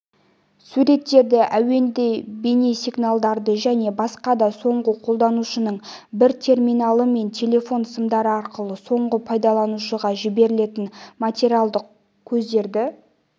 суреттерді әуенді бейнесигналдарды және басқа да соңғы қолданушының бір терминалы мен телефон сымдары арқылы соңғы пайдаланушыға жіберілетін материалдық көздерді